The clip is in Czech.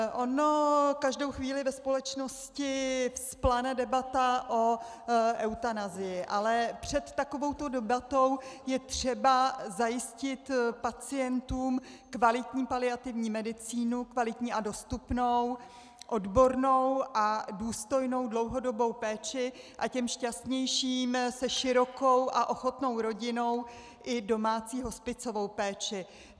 Ona každou chvíli ve společnosti vzplane debata o eutanazii, ale před takovou debatou je třeba zajistit pacientům kvalitní paliativní medicínu, kvalitní a dostupnou, odbornou a důstojnou dlouhodobou péči a těm šťastnějším se širokou a ochotnou rodinou i domácí hospicovou péči.